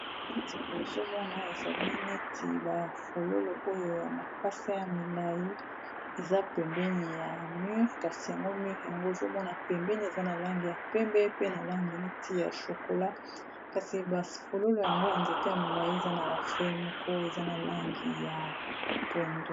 Libozomona ezali neti ba fololo oyo ya makasa ya milayi eza pembeni ya mur kasi yango mur yango ozomona pembeni eza na langi ya pembe pe na langi neti ya chokola kasi ba fololo yango ya nzete ya milayi eza na ba fleurs moko eza na langi ya pondu.